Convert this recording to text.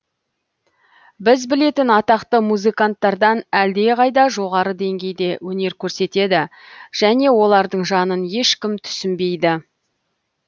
біз білетін атақты музыканттардан әлде қайда жоғары деңгейде өнер көрсетеді және олардың жанын ешкім түсінбейді